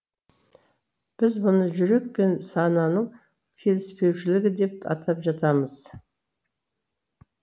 біз бұны жүрек пен сананың келіспеушілігі деп атап жатамыз